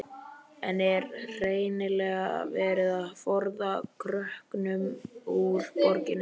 En er hreinlega verið að forða krökkunum úr borginni?